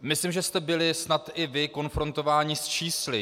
Myslím, že jste byli snad i vy konfrontováni s čísly.